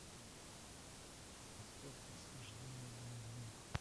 поставь восхождение на олимп